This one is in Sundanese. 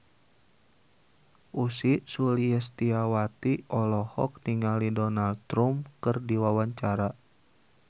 Ussy Sulistyawati olohok ningali Donald Trump keur diwawancara